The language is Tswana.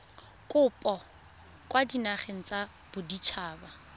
kopo kwa dinageng tsa baditshaba